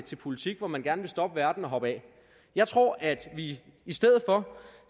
til politik hvor man gerne vil stoppe verden og hoppe af jeg tror at vi i stedet for